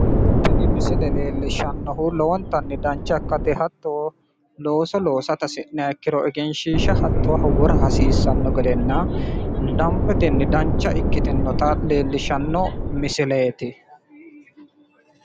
tini misile leellishshannohu lowontanni dancha ikkate hatto looso loosate hasi'niha ikkiro egenshiishsha hottooha wora hasissanno gedenna danbetenni dancha ikkitinota leellishshanno misileeti